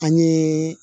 An ye